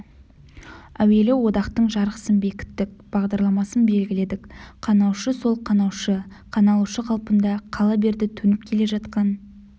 әуелі одақтың жарғысын бекіттік бағдарламасын белгіледік қанаушы сол қанаушы қаналушы қалпында қала берді төніп келе жатқан